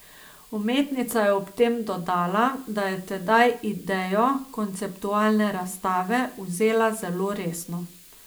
Umetnica je ob tem dodala, da je tedaj idejo konceptualne razstave vzela zelo resno.